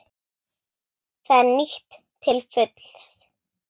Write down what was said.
Það er nýtt til fulls.